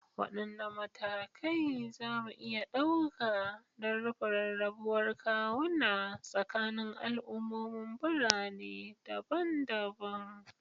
Wadanne matakai za mu iya dauka don rufe rarrabuwar kawuna tsakanin al'ummomin birane daban-daban?